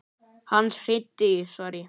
Hann hringdi í